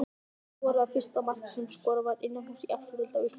Hver skoraði fyrsta markið sem skorað var innanhúss í efstu deild á Íslandi?